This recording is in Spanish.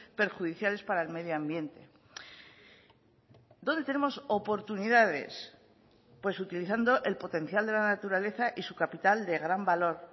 perjudiciales para el medio ambiente dónde tenemos oportunidades pues utilizando el potencial de la naturaleza y su capital de gran valor